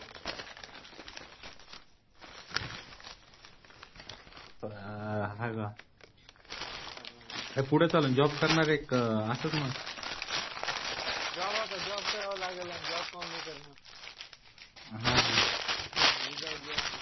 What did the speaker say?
हा का पुढे चालून जॉब करणार आहे का असंच मग जॉब आता जॉब करावा लागेल जॉब काऊन नाही करणार